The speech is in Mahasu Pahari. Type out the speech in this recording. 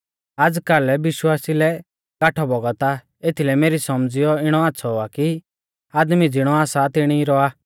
आज़कल विश्वासिऊ लै काट्ठौ बौगत आ एथीलै मेरी सौमझ़ीऐ इणौ आच़्छ़ौ आ कि आदमी ज़िणौ आसा सा तिणी रौआ